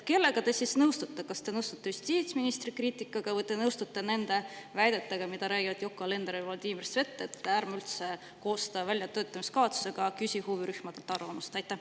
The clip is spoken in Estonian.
Kellega te nõustute, kas te nõustute justiitsministri kriitikaga või te nõustute nende väidetega, mida räägivad Yoko Alender ja Vladimir Svet, et ärme üldse koostame väljatöötamiskavatsust ja ärme küsime huvirühmadelt arvamust?